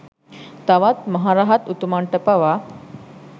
තවත් මහ රහත් උතුමන්ට පවා